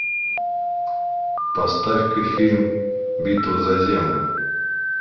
поставь ка фильм битва за землю